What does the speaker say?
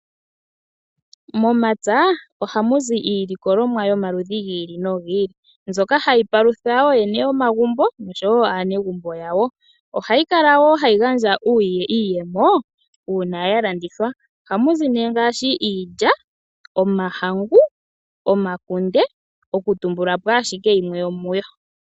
Momapya ohamu zi iilikolomwa yomaludhi gi ili no gi ili mbyoka hayi palutha oyene yomagumbo noshowo aanegumbo yawo. Ohayi gandja wo iiyemo una ya landithwa. Momapya ohamu zi nee iilikolomwa ngaashi Iilya, Omahangu, Omakunde oku tumbulapo ashike yimwe.